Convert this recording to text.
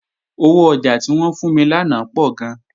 Owó ọjà tí wọ́n fún mi lánàá pọ̀ gan